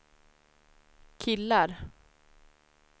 killar